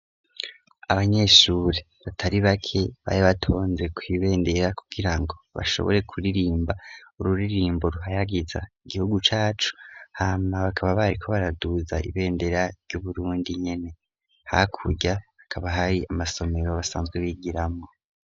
abanyeshuri batari bake bari batonze kuibendera kugirango bashobore kuririmba ururirimbo ruhayagiza igihugu cacu hamwa bakaba bari ko baraduza ibendera ry'uburundi nkene hakurya akaba hari amasomero basanzwe bigiramo